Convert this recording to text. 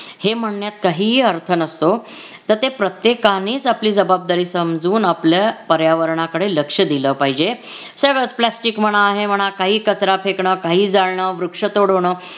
हे म्हणण्यात काही ही अर्थ नसतो तर ते प्रत्येकानेच आपली जबाबदारी समजून आपल्या पर्यावरणाकडे लक्ष दिल पाहिजे. सगळंच प्लॅस्टिक म्हणा हे म्हणा काही कचरा फेकण काही जाळणं वृक्षतोड होणं.